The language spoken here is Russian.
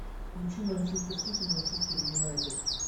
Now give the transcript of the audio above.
включи манчестер сити манчестер юнайтед